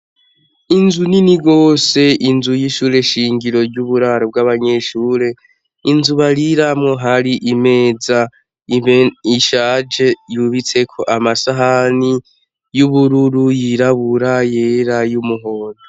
Inzu nini gose, inzu y'ishure shingiro ry'uburaro bw'abanyeshure, inzu bariramwo, hari imeza ishaje yubitseko amasahani y'ubururu yirabura yera y'umuhondo.